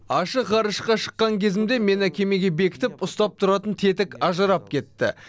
ашық ғарышқа шыққан кезімде мені кемеге бекітіп ұстап тұратын тетік ажырап кетті